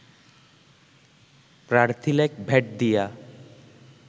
প্রার্থিলেক ভেট দিয়া